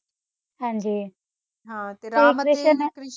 ਹਾਂਜੀ